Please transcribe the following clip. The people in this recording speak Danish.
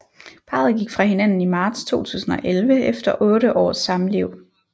Parret gik fra hinanden i marts 2011 efter 8 års samliv